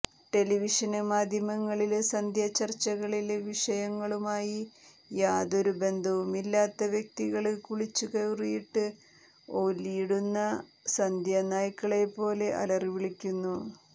ടെലിവിഷന് മാധ്യമങ്ങളില് സന്ധ്യാ ചര്ച്ചകളില് വിഷയങ്ങളുമായി യാതൊരു ബന്ധവുമില്ലാത്ത വ്യക്തികള് കുളിച്ചു കുറിയിട്ട് ഓലിയിടുന്ന സന്ധ്യ നായ്ക്കളെപ്പോലെ അലറി വിളിക്കുന്നു